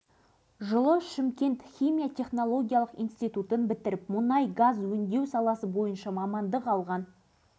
бұдан кейін ол шығын қорғаныс министрінен өндіріліп алынып сынақ алаңының зардабын шегіп отырған елді мекендердің әл-ауқатын көтеруге жұмсалғаны